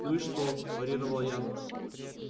ну и что парировал я